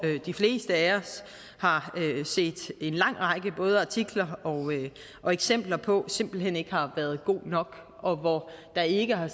de fleste af os har set en lang række både artikler og eksempler på simpelt hen ikke har været god nok og hvor der ikke har